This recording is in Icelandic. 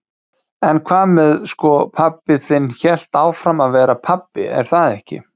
En hvað með sko, pabbi þinn hélt áfram að vera pabbi er það ekki?